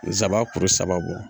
zaba kuru saba bɔ.